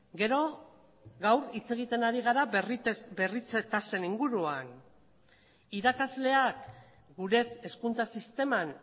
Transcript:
gero gaur hitz egiten ari gara berritze tasen inguruan irakasleak gure hezkuntza sisteman